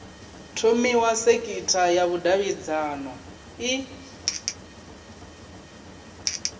thomiwa sekitha ya vhudavhidzano i